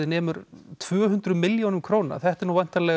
nemur um tvö hundruð milljónum króna þetta er